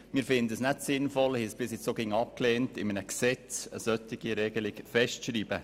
Wir finden es nicht sinnvoll und haben es sogar abgelehnt, eine solche Regelung in einem Gesetz festzuschreiben.